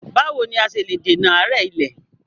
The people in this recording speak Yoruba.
Báwo ni a ṣe lè dènà àárẹ̀ ilẹ̀?